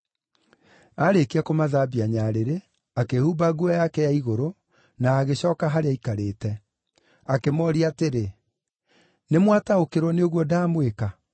Aarĩkia kũmathambia nyarĩrĩ, akĩĩhumba nguo yake ya igũrũ, na agĩcooka harĩa aikarĩte. Akĩmooria atĩrĩ, “Nĩmwataũkĩrwo nĩ ũguo ndamwĩka?